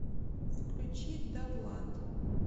включи давлад